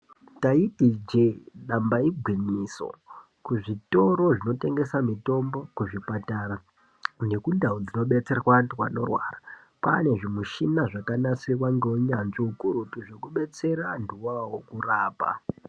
Taiti ijee damba igwinyiso. Kuzvitoro zvinotengese mitombo, kuzvipatara nekundau dzinobetserwa antu anorwara kwane zvimushina zvakanasirwa neuyanzvi ukurutu zvekubetsera antuwo awawo kurapa.